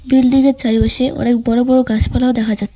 building এর চারিপাশে অনেক বড় বড় গাছপালাও দেখা যাচ্ছ --